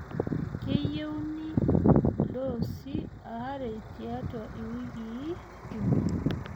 keyieuni doosi are tiatua iwikii uni.